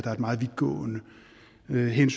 man i